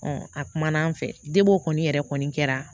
a kumana an fɛ kɔni yɛrɛ kɔni kɛra